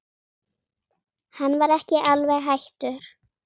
Hann var ekki alveg hættur.